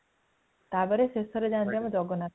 ତାପରେ ଶେଷରେ ଯାନ୍ତି ଆମର ଜଗନ୍ନାଥ